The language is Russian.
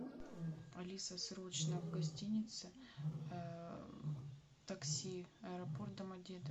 алиса срочно к гостинице такси аэропорт домодедово